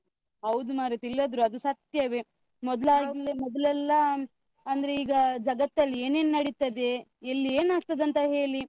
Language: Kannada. ಹೌದು ಮಾರೈತಿ ಇಲ್ಲದ್ರೂ ಅದು ಸತ್ಯವೇ. ಮೊದ್ಲಾದ್ರೆ ಮೊದ್ಲೆಲ್ಲಾ ಅಂದ್ರೆ ಈಗ ಜಗತ್ತಲ್ಲಿ ಏನ್ ಏನ್ ನಡೀತದೆ, ಎಲ್ಲಿ ಏನ್ ಆಗ್ತದಂತ ಹೇಲಿ ದೂರದರ್ಶನದಲ್ಲಿ ನೋಡ್ಬೇಕಿತ್ತು. ಈಗ mobile ಅಲ್ಲಿ ಕುತ್ಕೊಂಡ್ರೆ ಸಾಕು, ಒಂದು notification ಬರ್ತದೆ ಇಲ್ಲೀ ಹೀಗೆ ಆಯ್ತು, ಅಲ್ಲಿ ಹಾಗೆ ಆಯ್ತು ಅಂತ್ ಅಲ್ಲಾ?